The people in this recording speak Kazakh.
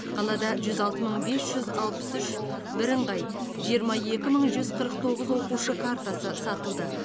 қалада жүз алты мың бес жүз алпыс үш бірыңғай жиырма екі мың жүз қырық тоғыз оқушы картасы сатылды